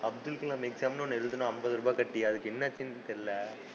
Abdul Kalam exam ன்னு ஒண்ணு எழுதுனோம் அம்பது ரூபாய் கட்டி அதுக்கு என்னாச்சுன்னு தெரியலை,